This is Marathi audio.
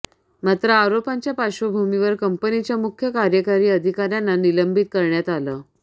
मात्र आरोपांच्या पार्श्वभूमीवर कंपनीच्या मुख्य कार्यकारी अधिकाऱ्यांना निलंबित करण्यात आलं